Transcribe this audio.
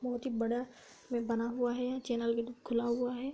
बहुत ही बड़ा में बना हुआ है। यहाँ चैनल भी खुला हुआ है।